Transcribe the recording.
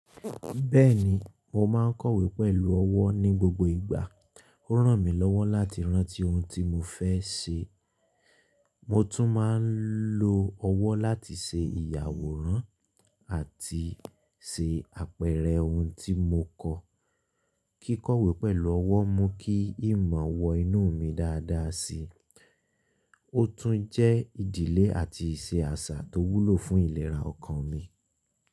Bẹ́ẹ̀ni, mo máa ń kọ̀wé pẹ̀lú ọwọ́ ní gbogbo ìgbà. Ó rán mi lọ́wọ́ láti rántí ohun tí mo fẹ́ ṣe. Mo tún máa ń lo ọwọ́ láti ṣe ìyàwòrán àti ṣe àpẹẹrẹ ohun tí mo kọ. Kíkọ̀wé pẹ̀lú ọwọ́ mú kí ìmọ̀ wọ inú mi dáadáa si. Ó tún jẹ́ ìdílé àti ìṣe àṣà tó wúlò fún ìlera ọkàn mi.